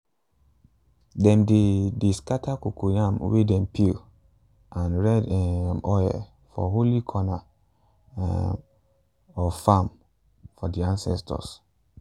dem dey dey scatter cocoyam way dem peel and red um oil for holy corner um of farm for the ancestors.